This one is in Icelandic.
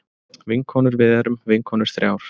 Vinkonurvið erum vinkonur þrjár.